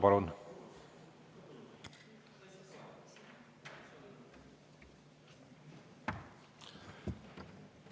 Palun!